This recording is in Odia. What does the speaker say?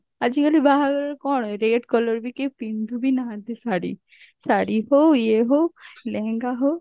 ଆଜିକାଲି ବାହାଘରରେ କଣ red colour ବି କିଏ ପିନ୍ଧୁ ବି ନାହାନ୍ତି ଶାଢୀ ଶାଢୀ ହଉ ଇଏ ହଉ ଲେହେଙ୍ଗା ହଉ